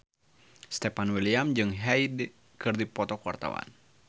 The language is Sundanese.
Stefan William jeung Hyde keur dipoto ku wartawan